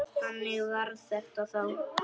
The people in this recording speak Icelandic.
Þannig var þetta þá.